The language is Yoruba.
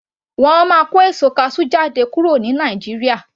Wọn a máa kó èso kasú jáde kúrò ní Nàìjíríà